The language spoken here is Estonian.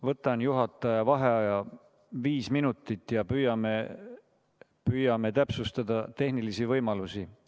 Võtan juhataja vaheaja viis minutit ja püüame täpsustada tehnilisi võimalusi.